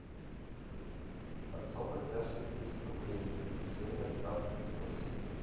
особо тяжкие преступления серия двадцать восемь